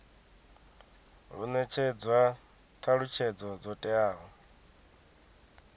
hu netshedzwa thalutshedzo dzo teaho